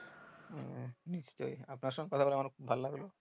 হু নিশ্চই আপনার সাথে কথা বলে আমার ও খুব ভালো লাগলো।